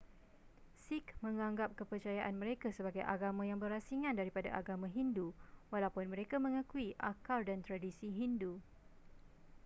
sikh menganggap kepercayaan mereka sebagai agama yang berasingan daripada agama hindu walaupun mereka mengakui akar dan tradisi hindu